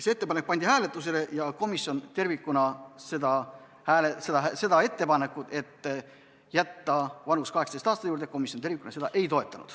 See ettepanek pandi hääletusele ja komisjon tervikuna ei toetanud ettepanekut jätta vanusepiir 18 aasta juurde.